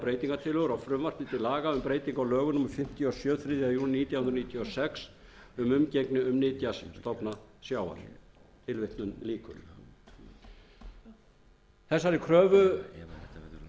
breytingartillögur á frumvarpi til laga um breytingu á lögum númer fimmtíu og sjö þriðja júní nítján hundruð níutíu og sex um umgengni um nytjastofna sjávar þessari